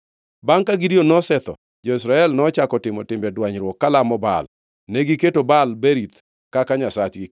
Bangʼ ka Gideon nosetho jo-Israel nochako timo timbe dwanyruok kalamo Baal. Negiketo Baal-Berith kaka nyasachgi,